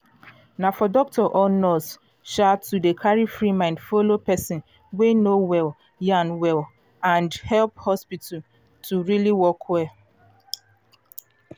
na for doctor or nurse um to dey carry free mind follow person wey no well yan go um help hospital dey um work well